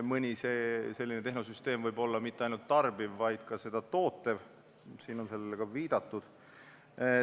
Mõni selline tehnosüsteem ei pruugi olla mitte ainult tarbiv, vaid ka tootev – siin on sellele viidatud.